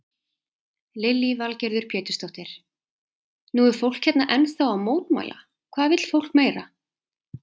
Lillý Valgerður Pétursdóttir: Nú er fólk hérna ennþá að mótmæla, hvað vill fólk meira?